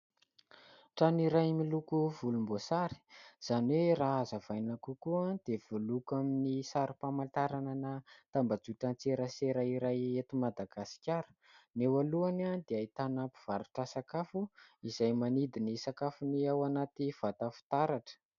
Trano iray miloko volomboasary, izany hoe raha azavaina kokoa dia voaloko amin'ny sarim-pamantarana tambajotran-tserasera iray eto Madagasikara. Ny eo alohany dia ahitana mpivarotra sakafo izay manidy ny sakafony ao anaty vata fitaratra.